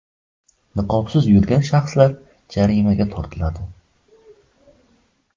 Niqobsiz yurgan shaxslar jarimaga tortiladi.